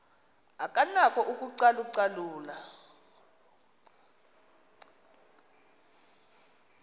akanako ukucalu calula